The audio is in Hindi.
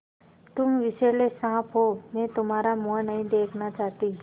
तुम विषैले साँप हो मैं तुम्हारा मुँह नहीं देखना चाहती